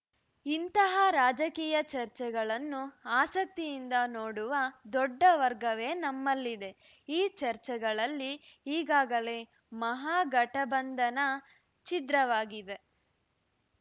ಇಂತಹ ರಾಜಕೀಯ ಚರ್ಚೆಗಳನ್ನು ಆಸಕ್ತಿಯಿಂದ ನೋಡುವ ದೊಡ್ಡ ವರ್ಗವೇ ನಮ್ಮಲ್ಲಿದೆ ಈ ಚರ್ಚೆಗಳಲ್ಲಿ ಈಗಾಗಲೇ ಮಹಾಗಠಬಂಧನ ಛಿದ್ರವಾಗಿದೆ